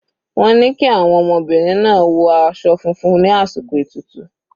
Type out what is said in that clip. Wọ́n ni kí àwọn ọmọbìnrin náà wọ aṣọ funfun ní àsìkò ètùtù.